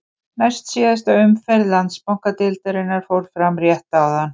Næst síðasta umferð Landsbankadeildarinnar fór fram rétt áðan.